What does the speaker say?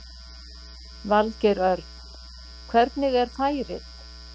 Valgeir Örn: Hvernig er færið?